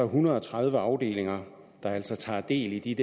hundrede og tredive afdelinger der altså tager del i de